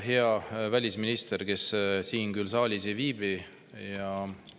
Hea välisminister, kes küll siin saalis ei viibi!